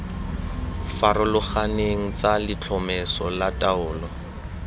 farologaneng tsa letlhomeso la taolo